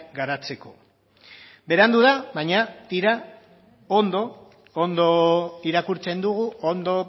garatzeko berandu da baina tira ondo irakurtzen dugu ondo